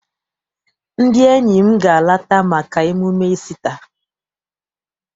Ndị enyi m ga- alata maka emume Isita.